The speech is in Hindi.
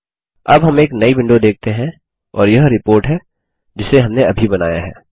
अब हम एक नई विंडो देखते हैं और यह रिपोर्ट है जिसे हमने अभी बनाया है